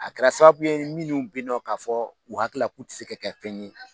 A kɛra sababu ye minnu bi ye nɔ k'a fɔ o hakilila k'u tɛ se ka kɛ fɛn ye.